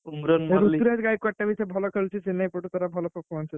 ଋତୁରାଜ ଗାଇକ୍ୱାର୍ଡ ବି ଏଥର ଭଲ ଖେଳୁଛି ଚେନ୍ନାଇ ପଟରୁ ତାର ଭଲ performance ଅଛି।